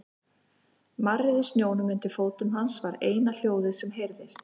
Marrið í snjónum undir fótum hans var eina hljóðið sem heyrðist.